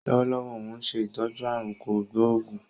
Lọ́wọ́lọ́wọ́ óun ṣe ìtọ́jú aàrùn kò gbóògún